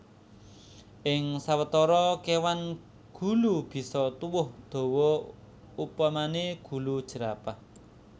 Ing sawetara kéwan gulu bisa tuwuh dawa upamané gulu jerapah